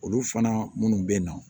Olu fana minnu bɛ na